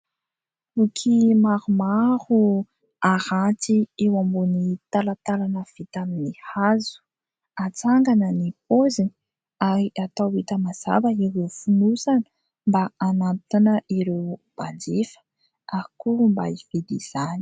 Boky maromaro aranty eo ambony talantalana vita amin'ny hazo. Atsangana ny paoziny ary atao hita mazava ireo fonosana mba hanantona ireo mpanjifa ary koa mba hividy izany.